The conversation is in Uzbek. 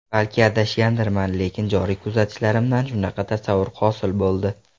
Balki adashgandirman, lekin joriy kuzatishlarimdan shunaqa tasavvur hosil bo‘ldi.